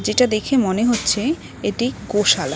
এটা দেখে মনে হচ্ছে এটি গোশালা।